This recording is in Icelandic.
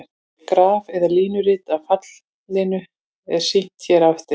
Graf eða línurit af fallinu er sýnt hér á eftir.